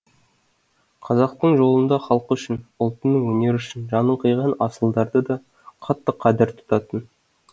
қазақтың жолында халқы үшін ұлтының өнері үшін жанын қиған асылдарды да қатты қадір тұтатын